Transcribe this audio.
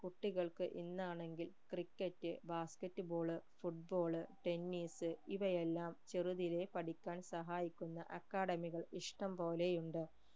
കുട്ടികൾക്ക് ഇന്നാണെങ്കിൽ cricket basket ball football tennis ഇവയെല്ലാം ചെറുതിലെ പഠിക്കാൻ സഹായിക്കുന്ന academy കൾ ഇഷ്ടംപോലെ ഉണ്ട്